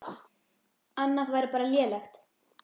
Annað væri bara lélegt.